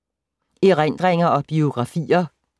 Erindringer og biografier